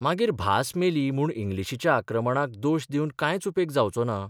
मागीर भास मेली म्हूण इंग्लिशीच्या आक्रमणाक दोश दिवन कांयच उपेग जावचो ना.